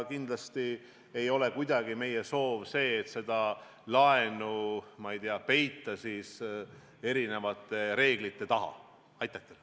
Kindlasti ei ole meie soov seda laenu, ma ei tea, erinevate reeglite taha ära peita.